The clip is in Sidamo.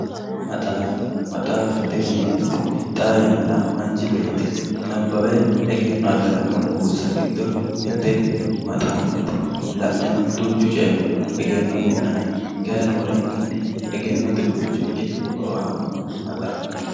maxaaffa maxaaffate yineemmoti xaa yannara manchi beetti nabbawe egenno afiranno buussa giddo mitte maxaaffate la'neno duuchu coyiinni egenno afi'nanni kayiinni roorenkanni egennote buicho ikke horo aannoho maxaafu.